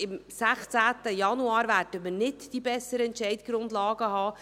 Am 16. Januar werden wir nicht die besseren Entscheidungsgrundlagen haben.